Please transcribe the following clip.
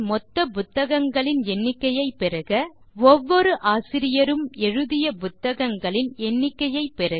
Libraryன் மொத்த புத்தகங்களின் எண்ணிக்கையைப் பெறுக 3